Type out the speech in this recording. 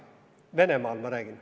Venemaal, ma räägin.